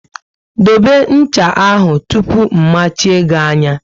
Dobe ncha ahụ tụpụ mmachie gị anya!